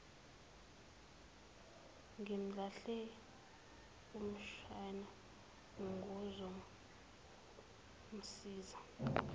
ngimlahle umshana ngizomsiza